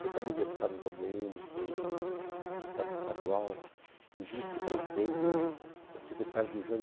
Foi também deputado da u dê ene, foi deputado estadual, foi vice-prefeito, foi secretário do Jânio.